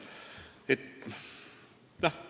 Vähemalt mina pole seda öelnud.